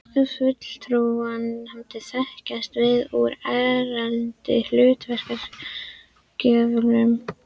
Fulltrúanefndir þekkjast víða úr erlendri hlutafélagalöggjöf.